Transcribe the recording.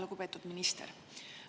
Lugupeetud minister!